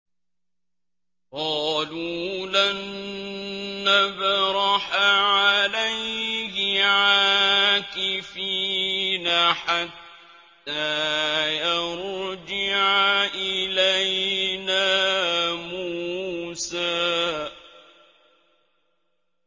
قَالُوا لَن نَّبْرَحَ عَلَيْهِ عَاكِفِينَ حَتَّىٰ يَرْجِعَ إِلَيْنَا مُوسَىٰ